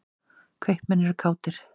Kaupmenn eru kátir.